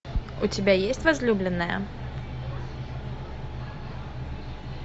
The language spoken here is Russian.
у тебя есть возлюбленная